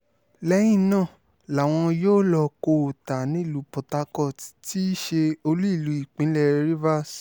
lẹ́yìn náà làwọn yóò lọ kó o ta nílùú port harcourt tí í ṣe olú ìlú ìpínlẹ̀ rivers